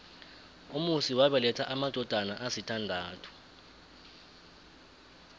umusi wabeletha amadodana asithandathu